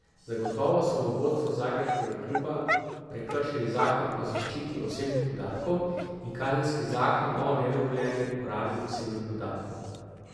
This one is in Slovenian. Zagotovo so v vodstvu zagrebškega kluba prekršili Zakon o zaščiti osebnih podatkov in Kazenski zakon o nedovoljeni uporabi osebnih podatkov.